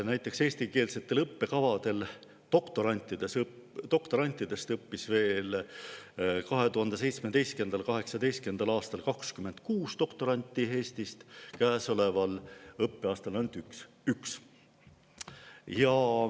Näiteks, eestikeelsetel õppekavadel õppis 2017. ja 2018. aastal 26 doktoranti Eestist, käesoleval õppeaastal õpib ainult üks.